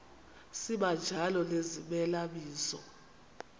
sibanjalo nezimela bizo